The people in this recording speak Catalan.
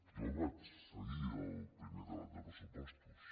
jo vaig seguir el primer debat de pressupostos